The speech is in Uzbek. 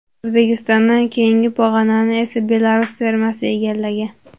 O‘zbekistondan keyingi pog‘onani esa Belarus termasi egallagan.